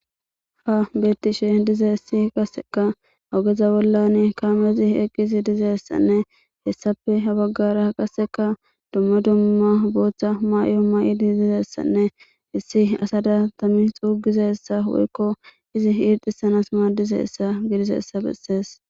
ha bettishe dizayssi qaseka ogeza bollan kamezi eqqiizi dizeessanne hessape ha baggara qaseka dumma dumma booththa mayo ma7idi dizessanne issi asada tammi xuugizessa woykko izi iirxisanas maadizessa gidizaysa bessees